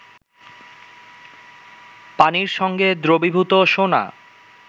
পানির সঙ্গে দ্রবীভূত সোনা